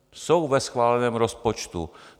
Jsou ve schváleném rozpočtu.